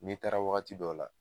N'i taara wagati dɔw la